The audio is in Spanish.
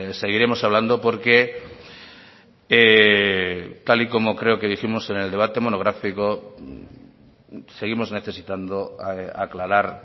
seguiremos hablando porque tal y como creo que dijimos en el debate monográfico seguimos necesitando aclarar